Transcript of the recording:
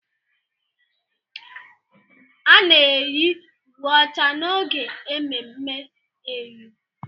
A na-eyi uwe ọcha n'oge ememme eyọ.